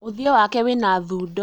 ũthiũ wake wĩna thundo